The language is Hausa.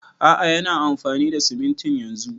A'a yana amfani da simintin yanzun